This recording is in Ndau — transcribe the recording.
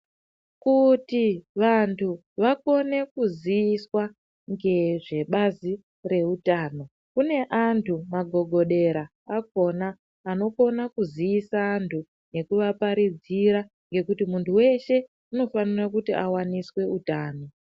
Kuti vantu vakone kuziviswa nge zvebazi rezveutano kune antu magogodera akona anokona kuzivisa antu ngeku vaparidzira ngekuti muntu weshe anofanira kuti awaniswe utano .